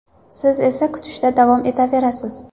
Siz esa kutishda davom etaverasiz.